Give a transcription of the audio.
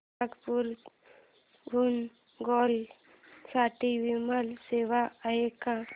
नागपूर हून गोव्या साठी विमान सेवा आहे का